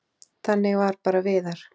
Þannig var bara Viðar.